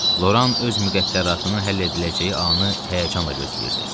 Loran öz müqəddəratını həll ediləcəyi anı həyəcanla gözləyirdi.